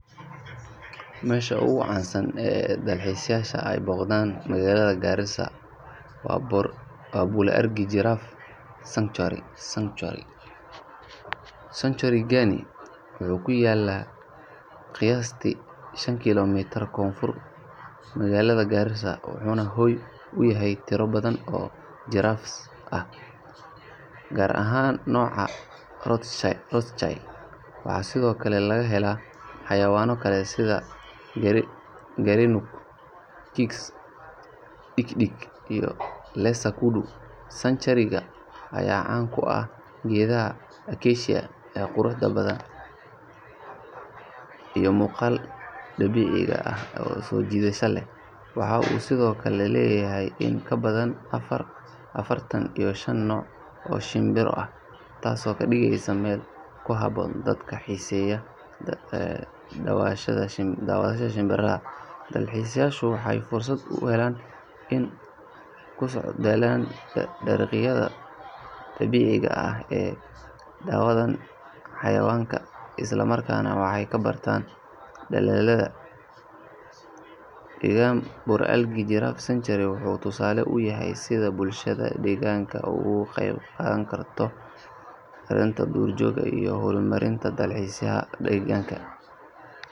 Meesha ugu caansan ee dalxiisayaasha ay booqdaan magaalada Garissa waa Bour-Algi Giraffe Sanctuary. Sanctuary-gaani wuxuu ku yaal qiyaastii shan kiiloomitir koonfurta magaalada Garissa, wuxuuna hoy u yahay tiro badan oo giraffes ah, gaar ahaan nooca Rothschild. Waxaa sidoo kale laga helaa xayawaanno kale sida Gerenuk, Kirk's dik-dik, iyo Lesser Kudu. Sanctuary-ga ayaa caan ku ah geedaha acacia ee quruxda badan iyo muuqaalka dabiiciga ah ee soo jiidashada leh. Waxa uu sidoo kale leeyahay in ka badan afartan iyo shan nooc oo shimbiro ah, taasoo ka dhigaysa meel ku habboon dadka xiiseeya daawashada shimbiraha. Dalxiisayaashu waxay fursad u helaan inay ku socdaalaan dariiqyada dabiiciga ah, daawadaan xayawaanka, isla markaana wax ka bartaan dadaallada ilaalinta deegaanka ee bulshada deegaanka. Bour-Algi Giraffe Sanctuary wuxuu tusaale u yahay sida bulshada deegaanka ay uga qayb qaadan karto ilaalinta duurjoogta iyo horumarinta dalxiiska deegaanka.